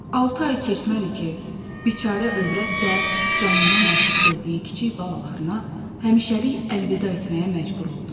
Altı ay keçmədi ki, biçarə övrət də canından artıq sevdiyi kiçik balalarına həmişəlik əlvida etməyə məcbur oldu.